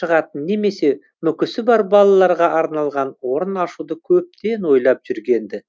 шығатын немесе мүкісі бар балаларға арналған орын ашуды көптен ойлап жүрген ді